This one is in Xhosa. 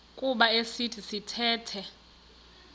kuba esi sithethe